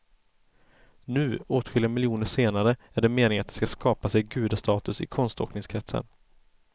Nu, åtskilliga miljoner senare, är det meningen att de skall skapa sig gudastatus i konståkningskretsar.